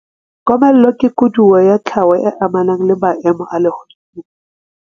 Komello ke koduwa ya tlhaho e amanang le maemo a lehodimo.